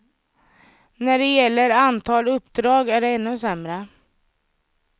När det gäller antal uppdrag är det ännu sämre.